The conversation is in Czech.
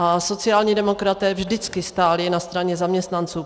A sociální demokraté vždycky stáli na straně zaměstnanců.